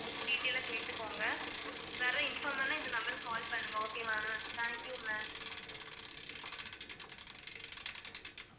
detail ஆ கேட்டுக்கோங்க வேற inform பண்ண இந்த number க்கு call பண்ணுங்க okay வா ma'am thank you ma'am